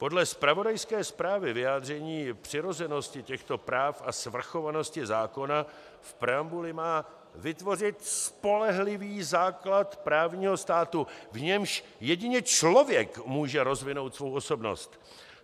Podle zpravodajské zprávy vyjádření přirozenosti těchto práv a svrchovanosti zákona v preambuli má vytvořit spolehlivý základ právního státu, v němž jedině člověk může rozvinout svou osobnost.